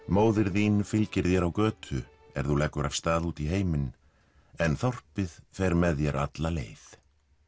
móðir þín fylgir þér á götu er þú leggur af stað út í heiminn en þorpið fer með þér alla leið